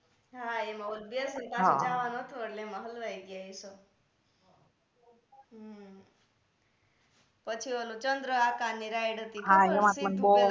હા એમા પાસે જાવાનું હતુ એટલે એમા હલવાઈ ગયા હમ પછી ઓલું ચંદ્ર આકાર ની રાઈડ હતી